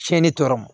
Tiɲɛni tɔ ma